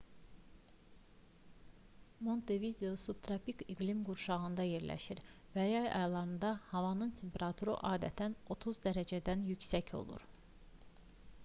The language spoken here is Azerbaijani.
montevideo subtropik iqlim qurşağında yerləşir və yay aylarında havanın temperaturu adətən +30°c -dən yüksək olur